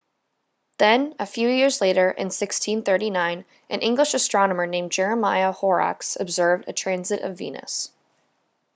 then a few years later in 1639 an english astronomer named jeremiah horrocks observed a transit of venus